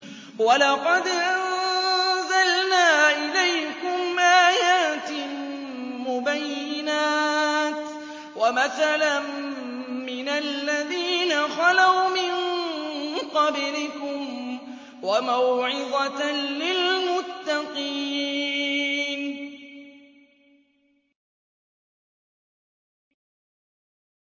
وَلَقَدْ أَنزَلْنَا إِلَيْكُمْ آيَاتٍ مُّبَيِّنَاتٍ وَمَثَلًا مِّنَ الَّذِينَ خَلَوْا مِن قَبْلِكُمْ وَمَوْعِظَةً لِّلْمُتَّقِينَ